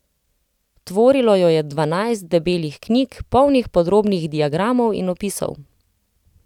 Tvorilo jo je dvanajst debelih knjig, polnih podrobnih diagramov in opisov.